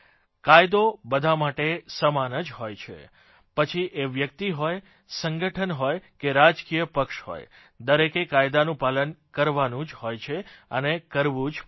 કાયદો બધા માટે સમાન જ હોય છે પછી એ વ્યકિત હોય સંગઠન હોય કે રાજકીય પક્ષ હોય દરેકે કાયદાનું પાલન કરવાનું જ હોય છે અને કરવું જ પડશે